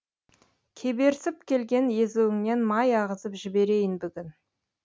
кеберсіп келген езуіңнен май ағызып жіберейін бүгін